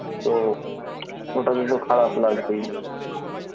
তো ওটাতে তো খারাপ লাগবেই